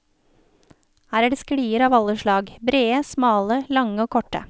Her er det sklier av alle slag, brede, smale, lange, og korte.